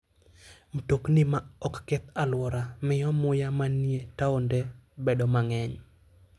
Mtokni ma ok keth alwora miyo muya manie taonde bedo mang'eny.